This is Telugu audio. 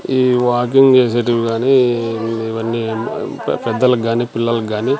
ఈ వాకింగ్ చేసేటివి గాని ఇవన్నీ పెద్దలకు కానీ పిల్లలకు గాని.